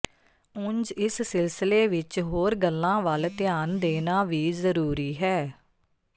ਉਂਜ ਇਸ ਸਿਲਸਿਲੇ ਵਿੱਚ ਹੋਰ ਗੱਲਾਂ ਵੱਲ ਧਿਆਨ ਦੇਣਾ ਵੀ ਜ਼ਰੂਰੀ ਹੈ